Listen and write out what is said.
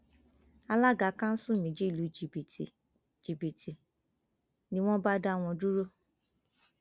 alága kanṣu méjì lu jìbìtì jìbìtì ni wọn bá dá wọn dúró